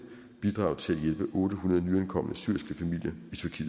bidraget til at hjælpe otte hundrede nyankomne syriske familier